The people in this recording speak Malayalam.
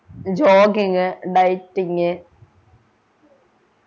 jogging dieting